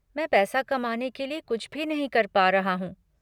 मैं पैसा कमाने के लिए कुछ भी नहीं कर पा रहा हूँ।